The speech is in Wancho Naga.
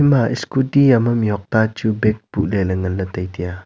ima scooty yama mihhok tachu bag putley ley nganley tai taiya.